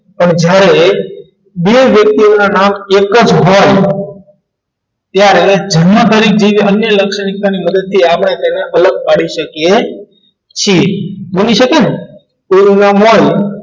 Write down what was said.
તમે જ્યારે બે વ્યક્તિનું નામ એક જ હોય ત્યારે જન્મ તારીખ કેવી અન્ય લાક્ષણિકતા ની મદદથી આપણે તેને ઓળખ પાડી શકે છે બની શકે ને એક નામ હોય